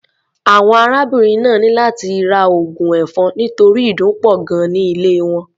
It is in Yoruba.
Àwọn arábìnrin náà ní láti ra oògùn ẹ̀fọn nítorí ìdun pọ̀ gan-an ní ilé wọn.